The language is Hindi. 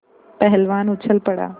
पहलवान उछल पड़ा